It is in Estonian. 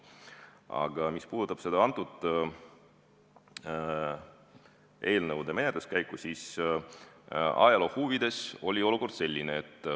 Aga mis puudutab antud eelnõude menetluskäiku, siis ajaloo huvides ütlen, et olukord oli selline.